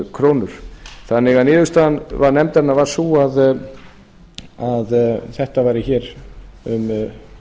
krónur þannig að niðurstaða nefndarinnar var sú að það væri hér um